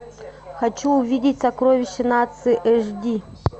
хочу увидеть сокровище нации эш ди